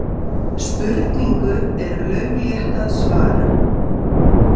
Spurningu er lauflétt að svara.